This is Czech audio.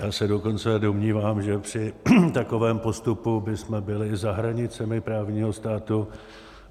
Já se dokonce domnívám, že při takovém postupu bychom byli za hranicemi právního státu.